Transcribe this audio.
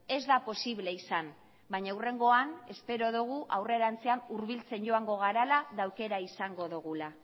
ez da posible izan baina hurrengoan espero dugu aurrerantzean hurbiltzen joango garela eta aukera izango dugula